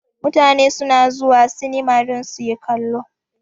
Mutane su na zuwa sinima don su yi kallo